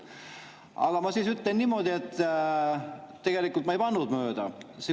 Aga ma ütlen niimoodi, et tegelikult ma ei pannud mööda.